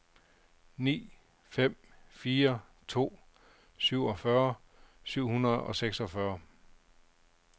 ni fem fire to syvogfyrre syv hundrede og seksogfyrre